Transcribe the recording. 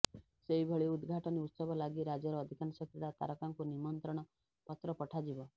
ସେହିଭଳି ଉଦ୍ଘାଟନୀ ଉତ୍ସବ ଲାଗି ରାଜ୍ୟର ଅଧିକାଂଶ କ୍ରୀଡ଼ା ତାରକାଙ୍କୁ ନିମନ୍ତ୍ରଣ ପତ୍ର ପଠାଯିବ